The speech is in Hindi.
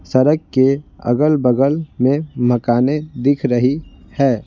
सड़क के अगल-बगल में मकानें दिख रही है।